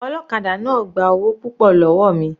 Ọlọ́kadà náà gba owó púpọ̀ lọ́wọ́ mi.